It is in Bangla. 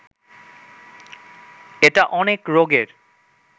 এটা অনেক রোগের